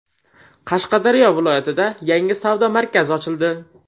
Qashqadaryo viloyatida yangi savdo markazi ochildi.